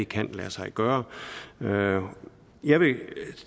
kan lade sig gøre gøre jeg vil